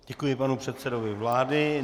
Děkuji panu předsedovi vlády.